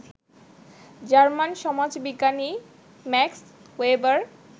German সমাজবিজ্ঞানী Max weber